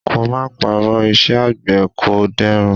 Ka má parọ́, iṣẹ́ àgbẹ̀ kò dẹrùn.